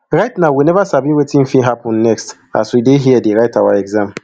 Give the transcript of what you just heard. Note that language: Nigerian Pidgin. right now we neva sabi wetin fit happun next as we dey here dey write our exams